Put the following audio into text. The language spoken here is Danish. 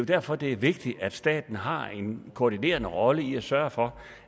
derfor det er vigtigt at staten har en koordinerende rolle i at sørge for